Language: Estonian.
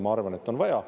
Ma arvan, et on vaja.